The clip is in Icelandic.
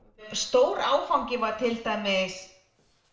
stór áfangi var til dæmis